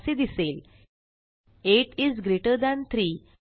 असे दिसेल 8 is greater than 3